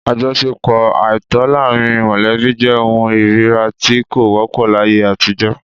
Àjọṣepọ àìtọ́ láàrín mọ̀lẹ́bí jẹ́ ohun ìríra tí kò wọ́pọ̀ láyé àtijọ́